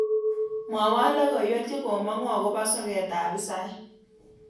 Mwawon logoywek chegomangu agoba soketab hisaik